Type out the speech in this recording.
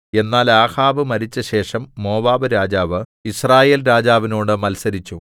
എന്നാൽ ആഹാബ് മരിച്ചശേഷം മോവാബ്‌രാജാവ് യിസ്രായേൽ രാജാവിനോട് മത്സരിച്ചു